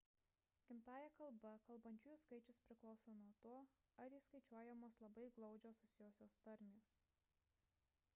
gimtąja kalba kalbančiųjų skaičius priklauso nuo to ar įskaičiuojamos labai glaudžiai susijusios tarmės